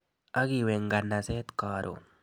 Akiwe nganaset karon.